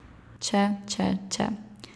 Če, če, če ...